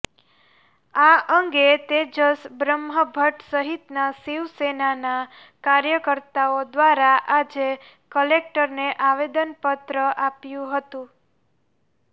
આ અંગે તેજસ બ્રહ્મભટ્ટ સહીતના શિવ સેનાના કાર્યકરતાઓ દ્વારા આજે કલેકટરને આવેદન પત્ર આપ્યું હતું